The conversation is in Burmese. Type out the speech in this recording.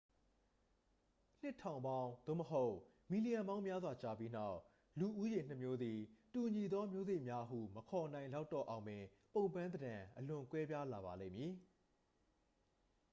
နှစ်ထောင်ပေါင်း သို့မဟုတ် မီလီယံပေါင်းများစွာကြာပြီးနောက် လူဦးရေနှစ်မျိုးသည် တူညီသောမျိုးစိတ်များဟု မခေါ်နိုင်လောက်တော့အောင်ပင် ပုံပန်းသဏ္ဍာန် အလွန်ကွဲပြားလာပါလိမ့်မည်